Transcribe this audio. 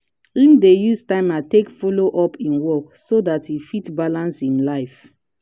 him dey use timer take follow up him work so dat e fit balance him life.